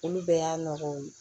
Olu bɛɛ y'a nɔgɔw ye